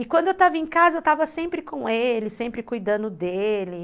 E quando eu estava em casa, eu estava sempre com ele, sempre cuidando dele.